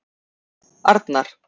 Arnar